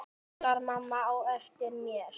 kallaði mamma á eftir mér.